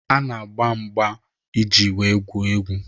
Ha na-agba mgba iji wee gwuo egwu.